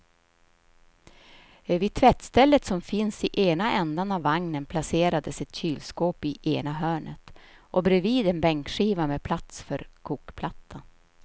Vid tvättstället som finns i ena ändan av vagnen placerades ett kylskåp i ena hörnet och bredvid en bänkskiva med plats för kokplattan.